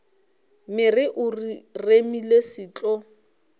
mere o remile se tlo